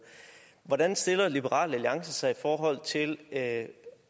hvordan stiller liberal alliance sig i forhold til at